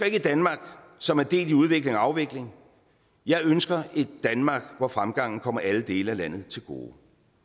ikke et danmark som er delt i udvikling og afvikling jeg ønsker et danmark hvor fremgangen kommer alle dele af landet til gode